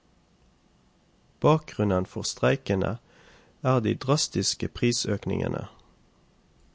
Bakgrunnen for streikene er de drastiske prisøkningene.